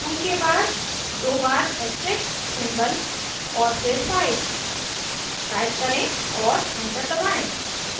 2 के बाद दो बार ऐस्ट्रिस्क सिंबल और फिर 5 टाइप करें और एंटर दबाएं